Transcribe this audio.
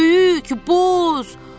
Böyük, boz.